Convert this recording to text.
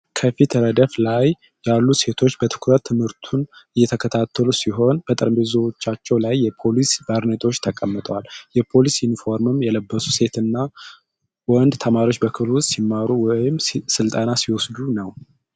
ከፊት ረድፍ ላይ ያሉ ሴቶች በትኩረት ትምህርቱን እየተከታተሉ ሲሆን፣ በጠረጴዛዎቻቸው ላይ የፖሊስ ባርኔጣዎችተቀምጠዋል። የፖሊስ ዩኒፎርም የለበሱ ሴት እና ወንድ ተማሪዎች በክፍል ውስጥ ሲማሩ/ስልጠና ሲወስዱ ነው።